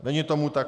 Není tomu tak.